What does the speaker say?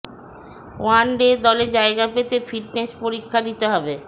one day দলে জায়গা পেতে ফিটনেস পরীক্ষা দিতে হবে